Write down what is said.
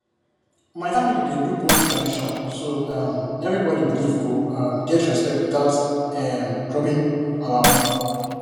my family dey do both tradition so um everybody belief go um get respect without um dropping our own